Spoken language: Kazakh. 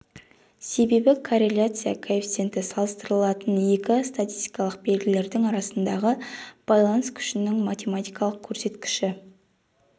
себебі корреляция коэффициенті салыстырылатын екі статистикалық белгілердің арасындағы байланыс күшінің математикалық көрсеткіші